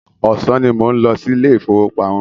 Ọ̀sán ní mò ń lọ sí ilé ìfọwọ́pamo.